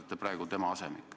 Te olete praegu tema asemik.